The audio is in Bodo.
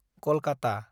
कलकाता